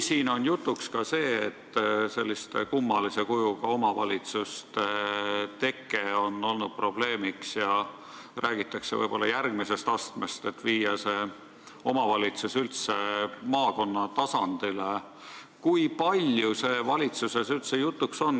Siin on olnud jutuks ka see, et selliste kummalise kujuga omavalitsuste teke on olnud probleemiks, ja räägitakse võib-olla järgmisest astmest, et viia omavalitsus üldse maakonna tasandile, aga kui palju see valitsuses jutuks on olnud?